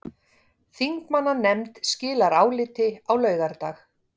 Þingmannanefnd skilar áliti á laugardag